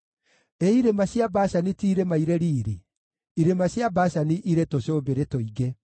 Ĩ irĩma cia Bashani ti irĩma irĩ riiri; irĩma cia Bashani irĩ tũcũmbĩrĩ tũingĩ.